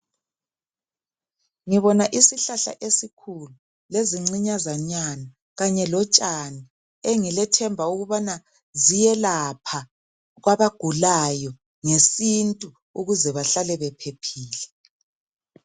Ngibona isihlahla esikhulu lezincinyazanyana kanye lotshani engilethemba ukubana ziyelapha kwabagulayo ngesintu ukuze bahlale bephephile.